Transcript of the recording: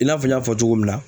I n'a fɔ n y'a fɔ cogo min na